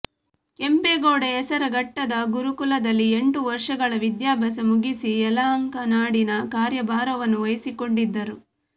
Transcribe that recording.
ಕೆಂಪೇಗೌಡ ಹೆಸರಘಟ್ಟದ ಗುರುಕುಲದಲ್ಲಿ ಎಂಟು ವರ್ಷಗಳ ವಿಧ್ಯಾಭ್ಯಾಸ ಮುಗಿಸಿ ಯಲಹಂಕನಾಡಿನ ಕಾರ್ಯಭಾರವನ್ನು ವಹಿಸಿಕೊಂಡಿದ್ದರು